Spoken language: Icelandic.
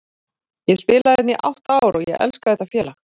Ég hef spilað hérna í átta ár og ég elska þetta félag.